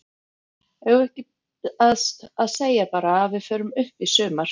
Eigum við ekki að segja bara að við förum upp í sumar?